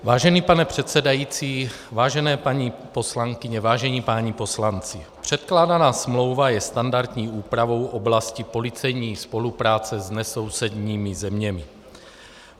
Vážený pane předsedající, vážené paní poslankyně, vážení páni poslanci, předkládaná smlouva je standardní úpravou oblasti policejní spolupráce s nesousedními zeměmi.